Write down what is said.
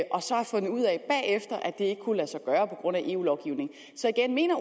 at det ikke kunne lade sig gøre på grund af eu lovgivningen så igen mener